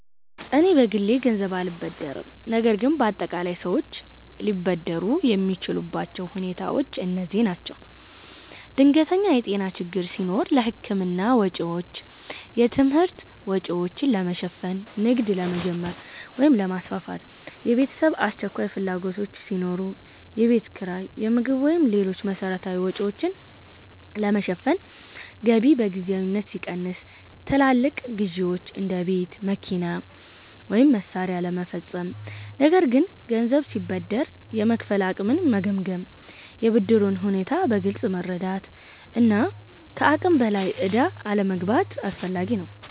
እኔ በግሌ ገንዘብ አልበደርም፣ ነገር ግን በአጠቃላይ ሰዎች ገንዘብ ሊበደሩ የሚችሉባቸው ሁኔታዎች እነዚህ ናቸው፦ ድንገተኛ የጤና ችግር ሲኖር ለሕክምና ወጪዎች። የትምህርት ወጪዎችን ለመሸፈን። ንግድ ለመጀመር ወይም ለማስፋፋት። የቤተሰብ አስቸኳይ ፍላጎቶች ሲኖሩ። የቤት ኪራይ፣ የምግብ ወይም ሌሎች መሠረታዊ ወጪዎችን ለመሸፈን ገቢ በጊዜያዊነት ሲቀንስ። ትላልቅ ግዢዎች (እንደ ቤት፣ መኪና ወይም መሳሪያ) ለመፈጸም። ነገር ግን ገንዘብ ሲበደር የመክፈል አቅምን መገምገም፣ የብድሩን ሁኔታ በግልጽ መረዳት እና ከአቅም በላይ ዕዳ አለመግባት አስፈላጊ ነው።